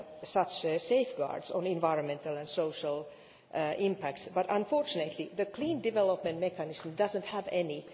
such safeguards on environmental and social impact, but unfortunately the Clean Development Mechanism does not have any.